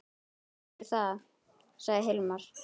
Ég heyri það, sagði Hilmar.